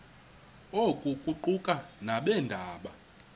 oku kuquka nabeendaba